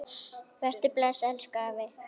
Vertu bless, elsku afi.